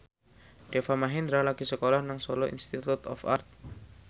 Deva Mahendra lagi sekolah nang Solo Institute of Art